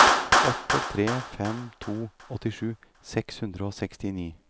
åtte tre fem to åttisju seks hundre og sekstini